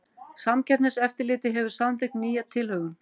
Samkeppniseftirlitið hefur samþykkt nýja tilhögun